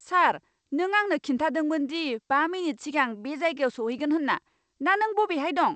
सार, नों आंनो खिन्थादोंमोन दि बा मिनिट सिगां बे जायगायाव सौहैगोन होनना। दा नों बबेहाय दं?